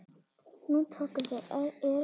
Nú tóku við erilsöm ár.